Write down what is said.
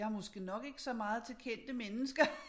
Jeg måske nok ikke så meget til kendte mennesker